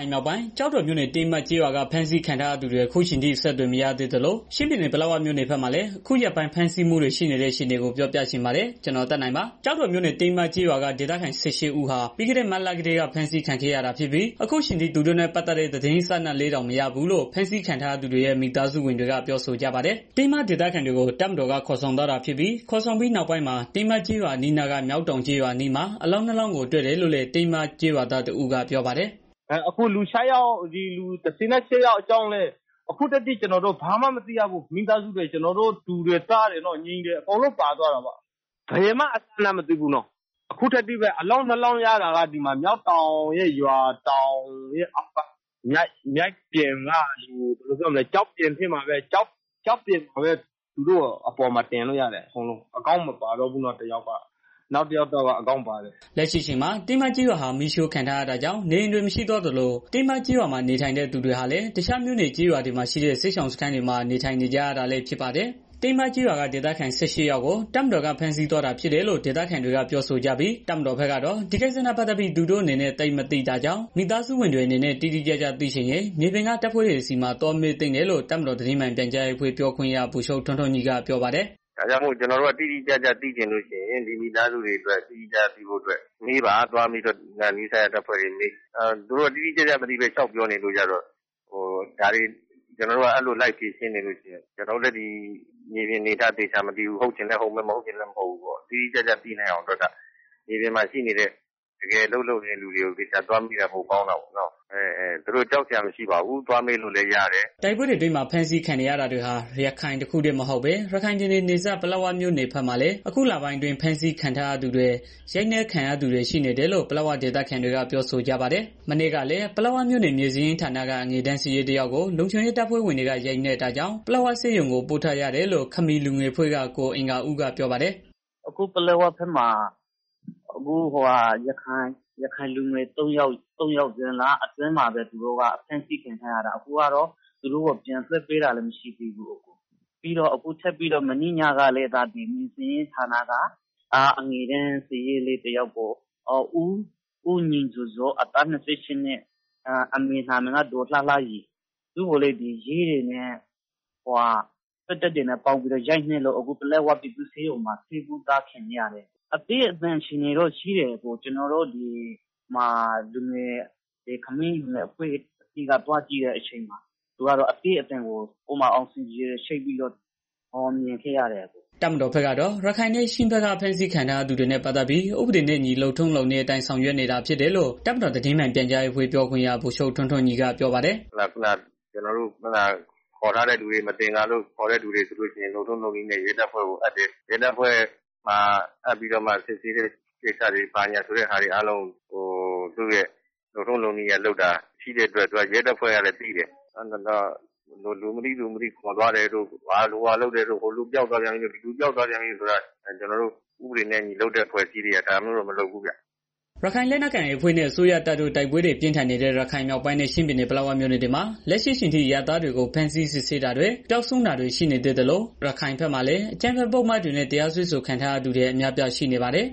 ုင်မြောက်ပိုင်း ကျောက်တော်မြို့နယ် ကတင်းမကျေးရွာက ဖမ်းဆီးခံထားရသူတွေ အခုအချိန်ထိ အဆက်အသွယ်မရသေးသလို ချင်းပြည်နယ် ပလက်ဝမြို့နယ်ဘက်မှာလည်း အခုရက်ပိုင်း ဖမ်းဆီးမှုတွေ ရှိနေတဲ့ အခြေအနေကို ဗွီအိုအေမြန်မာပိုင်းသတင်းထောက် ကိုသက်နိုင်က ပြောပြချင်ပေးပါမယ်။ ကျောက်တော်မြို့နယ် တင်းမကျေးရွာက ဒေသခံ ၁၈ ဦးဟာ ပြီးခဲ့ မတ်လကတည်းက ဖမ်းဆီးခံခဲ့ရတာ ဖြစ်ပြီး အခုအချိန်ထိ သူတို့နဲ့ ပတ်သတ်တဲ့ သတင်းအစအနလေးတောင်မရဘူးလို့ ဖမ်းဆီးခံရသူတွေရဲ့ မိသားစုဝင်တွေက ပြောဆိုကြပါတယ်။ တင်းမဒေသခံတွေကို တပ်မတော်ကခေါ်ဆောင်သွားတာဖြစ်ပြီး ခေါ်ဆောင်သွားပြီး နောက်ပိုင်းမှာ တင်းမကျေးရွာ အနီးအနားက မျောက်တောင်ကျေးရွာအနီးမှာ အလောင်းနှစ်လောင်းကိုတွေ့တယ်လို့လည်း တင်းမကျေးရွာသားတစ်ဦးက ပြောပါတယ်။ "အခု လူ ၁၈ ယောက်အကြောင်းလည်း ဘာမှမသိရဘူး။ ကျနော်တို့ မိသားစုဝင်တွေ တူတွေ၊ သားတွေဝ ညီတွေ အကုန်လုံးပါသွားတာပေါ့။ ဘယ်မှအစအနတောင်မသိရဘူး။ အခုထက်ထိပဲ။ အလောင်းနှစ်လောင်းရတာကတော့ မျောက်တောင်းကျေးရွာရဲ့ ရွာအောက်က မြစ်ပြင်က ကျောက်ဖြာပေါ်မှာ တင်ပြီးတော့ရတာ တစ်ယောက်ကတော့ ဦးခေါင်းမပါတော့ဘူး တစ်ယောက်ကတော့ ဦးခေါင်းပါတယ်။" လက်ရှိအချိန်မှာ တင်းမကျေးရွာဟာ မီးရှို့ခံထားရတာကြောင့် နေအိမ်တွေ မရှိတော့သလို တင်းမကျေးရွာမှာ နေထိုင်သူတွေဟာလည်း တခြားမြို့နယ်ကျေးရွာတွေမှာရှိတဲ့ စစ်ရှောင်စခန်းတွေမှာ နေထိုင်နေကြတာလည်း ဖြစ်ပါတယ်။ တင်းမကျေးရွာက ဒေသခံ ၁၈ ယောက်ကို တပ်မတော်က ဖမ်းဆီးသွားတာဖြစ်တယ်လို့ ဒေသခံတွေကပြောဆိုကြပြီး တပ်မတော်ဘက်ကတော့ ဒီကိစ္စနဲ့ ပတ်သတ်ပြီး သူတို့အနေနဲ့ သိပ်မသိတာကြောင့် မိသားစုဝင်တွေအနေနဲ့ တိတိကျကျသိချင်ရင် မြေပြင်က တပ်ဖွဲ့တွေဆီမှာ သွားမေးသင့်တယ်လို့ တပ်မတော်သတင်း မှန်ပြန်ကြားရေးအဖွဲ့ပြောခွင့်ရ ဗိုလ်ချုပ် ထွန်းထွန်းညီကပြောပါတယ်။ "ကျနော်တို့က တိတိကျကျသိချင်လို့ရှိရင် ဒီမိသားစုတွေအတွက် တိတိကျကျသိဖို့မေးပါသွားပြီးတော့ နီးစပ်ရာ တပ်ဖွဲ့တွေကို မေးပါ။ သူတို့ကတိတိကျကျမသိ လျှောက်ပြောနေရင်း ကျနော်တို့က ဒါတွေကို လိုက်ပြီးဖြေရှင်းနေရင် ကျနော်တို့လည်း ဒီမြေပြင်အနေအထားကို သေချာမသိဘူး။ ဟုတ်ချင်လည်း ဟုတ်မယ်၊ မဟုတ်ချင်လည်း မဟုတ်ဘူး။ တိတိကျကျသိဖို့အတွက်က မြေပြင်မှာ ရှိနေတဲ့ တကယ်အလုပ်လုပ်နေတဲ့ လူတွေကို သေချာသွား မေးတာပိုကောင်းတာပေါ့နော်။ သူတို့ကြောက်စရာ မရှိပါဘူး သွားမေးလို့လည်းရတယ်။" တိုက်ပွဲတွေအတွင်းမှာ ဖမ်းဆီးခံနေရတာတွေဟာ ရခိုင်တစ်ခုတည်းမဟုတ်သလို ရခိုင်ပြည်နယ် နယ်စပ် ပလက်ဝမြို့နယ်ဘက်မှာ အခုလပိုင်းအတွင်း ဖမ်းဆီးခံထားရသူတွေ ရိုက်နက်ခံရသူတွေ ရှိတယ်နေတယ်လို့ ပလက်ဝဒေသခံတွေက ပြောဆိုကြပါတယ်။ မနေ့ကလည်း ပလက်ဝမြို့နယ် မြေစာရင်းဌာနက အငယ်တန်းစာရေး တစ်ယောက်ကို လုံခြုံရေး တပ်ဖွဲ့ဝင်တွေက ရိုက်နှက်တာကြောင့် ပလက်ဝဆေးရုံကို ပို့ထားရတယ်လို့ ခမီးလူငယ်အဖွဲ့က ကိုအင်္ဂါဦးက ပြောပါတယ်။ "အခုပလက်ဝဘက်မှာ ရခိုင်လူငယ် သုံးယောက် ဒီဇွန်လအတွင်းမှာပဲ ဖမ်းဆီးခံထားရတာ သူတို့ကိုပြန်လွတ်ပေးတာလည်း မရှိသေးဘူး။ ပြီးတော့ ထပ်ပြီးတော့ မနေ့ညကလည်း မြေစာရင်းဌာနက အငယ်တန်း စာရေးလေး တစ်ယောက်ကို ဦးညီဇော်ဇော် အသက် အမေနာမည်က ဒေါ်လှလှရီ သူ့ကိုလည်း ရဲတွေနဲ့ စစ်တပ်နဲ့ ပေါင်းရိုက်လို့ အခု ပလက်ဝပြည်သူ့ဆေးရုံမှာ တင်ထားရတယ်။ အသည်းအသန် အခြေအနေေတော့ ရှိတယ်။ ကျနော်တို့ ခမီးလူ ငယ်အဖွဲ့ကသွားကြည့်တော့ အသည်းအသန် အာဆီဂျင် ချိတ်ပြီးတော့ မြင်ခဲ့ရတယ်။" တပ်မတော်ဘက်ကတော့ ရခိုင်နဲ့ ချင်းဘက်က ဖမ်းဆီးခံရသူတွေနဲ့ ပတ်သတ်ပြီး ဥပဒေနဲ့အညီ လုပ်ထုံးလုပ်နည်းအတိုင်း ဆောင်ရွက်နေတာဖြစ်တယ်လို့ တပ်မတော်သတင်း မှန်ပြန်ကြားရေးအဖွဲ့ပြောခွင့်ရ ဗိုလ်ချုပ် ထွန်းထွန်း ညီကပြောပါတယ်။ "ကျနော်တို့က မသင်္ကာလို့ ခေါ်ထားတဲ့သူတွေဆိုရင် လုပ်ထုံးလုပ်နည်းနဲ့ ရဲတပ်ဖွဲ့ကို အပ်တယ်။ စစ်ဆေးတာတွေလုပ်တာ လုပ်ထုံးလုပ်နည်းနဲ့ လုပ်တာရှိတော့ ရဲတပ်ဖွဲ့ကလည်း သိတယ်။ လူမသိသူမသိ ခေါ်သွားတာတို့ ဟိုလူ ပျောက်သွားပြန်ပြီ ဒီလူပျောက်သွားပြန်ပြီတို့ကျနော်တို့ ဥပဒေနဲ့အညီလုပ်တဲ့ အဖွဲ့အစည်းတွေက ဒါမျိုးတော့ မလုပ်ဘူးဗျာ။ " ရခိုင်လက်နက်ကိုင် AA အဖွဲ့ နဲ့ အစိုးရတပ်တို့ တိုက်ပွဲတွေ ပြင်းထန်နေတဲ့ ရခိုင်မြောက်ပိုင်းနဲ့ ချင်းပြည်နယ် ပလက်ဝမြို့နယ်တွေမှာ လက်ရှိအချိန်ထိ အရပ်သားတွေကို ဖမ်းဆီးစစ်ဆေးတာတွေ ပျောက်ဆုံးတာတွေ ရှိနေသေးသလို ရခိုင်ဘက်မှာလည်း အကြမ်းဖက် ပုဒ်မတွေနဲ့ တရားစွဲဆိုခံထားရသူတွေ အများအပြား ရှိနေပါတယ်